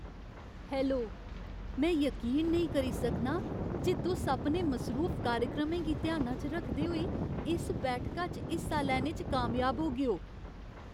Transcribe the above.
Hello ! में यकीन नेईं करी सकनां जे तुस अपने मसरूफ कार्यक्रमें गी ध्याना च रखदे होई इस बैठका च हिस्सा लैने च कामयाब होगेओ!